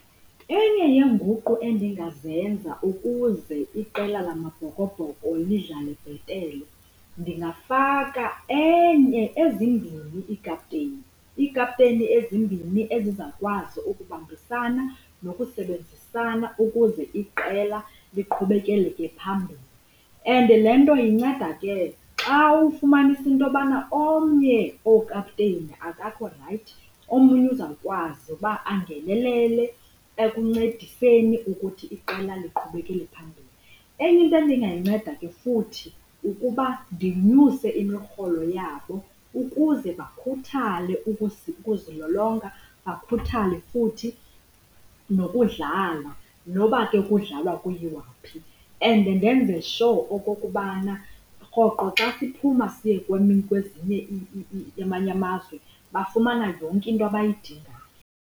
Enye yeenguqu endingazenza ukuze iqela laMabhokobhoko lidlale bhetele ndingafaka enye ezimbini iikaputeyini. Iikaputeyini ezimbini ezizakwazi ukubambisana nokusebenzisana ukuze iqela liqhubekeleke phambili. And le nto inceda ke xa ufumanisa into yobana omnye wookaputeyini akakho rayithi omnye uzawukwazi ukuba angenelele ekuncediseni ukuthi iqela liqhubeleke phambili. Enye into endingayinceda ke futhi kukuba ndinyuse imirholo yabo ukuze bakhuthale ukuzilolonga bakhuthale ukudlala nokuba ke kudlalwa kuyiwaphi. And ndenze sho okokubana rhoqo xa siphuma siye kwezinye amanye amazwe bafumana yonke into abayidingayo.